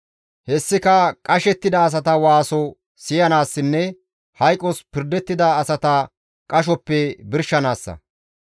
Hessika qashettida asata waaso siyanaassinne hayqos pirdettida asata qashoppe birshanaassa.